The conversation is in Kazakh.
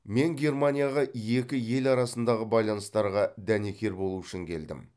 мен германияға екі ел арасындағы байланыстарға дәнекер болу үшін келдім